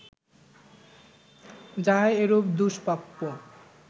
যাহা এরূপ দুষ্প্রাপ্য